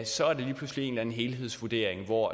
så er det lige pludselig en eller anden helhedsvurdering hvor